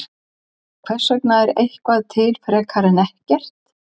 Hvers vegna er eitthvað til frekar en ekkert?